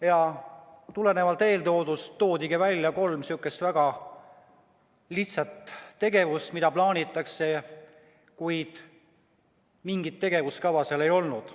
Ja tulenevalt sellest toodigi välja kolm väga lihtsat tegevust, mida plaanitakse, kuid mingit tegevuskava ei olnud.